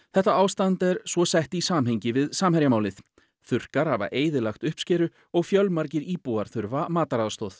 þetta ástand er svo sett í samhengi við Samherjamálið þurrkar hafa eyðilagt uppskeru og fjölmargir íbúar þurfa mataraðstoð